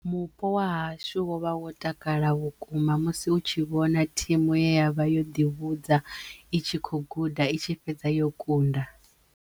Mupo wa hashu wovha wo takala vhukuma musi u tshi vhona thimu ye ya vha yo ḓivhudza itshi kho guda i tshi fhedza yo kunda.